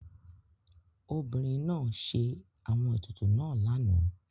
Obìrín náà sẹ́ àwọn ètùtù náà lànà.